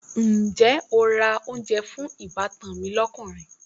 Ǹjẹ́ o ra oúnjẹ fún ìbátan mi lọ́kùnrin?